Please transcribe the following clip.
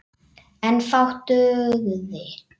En fátt dugði.